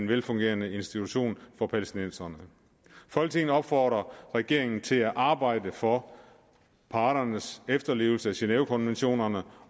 velfungerende institutioner for palæstinenserne folketinget opfordrer regeringen til at arbejde for parternes efterlevelse af genevekonventionerne